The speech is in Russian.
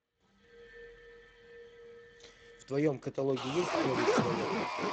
в твоем каталоге есть новый человек